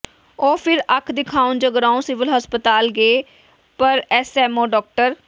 ਉਹ ਫਿਰ ਅੱਖ ਦਿਖਾਉਣ ਜਗਰਾਓਂ ਸਿਵਲ ਹਸਪਤਾਲ ਗਏ ਪਰ ਐੱਸਐੱਮਓ ਡਾ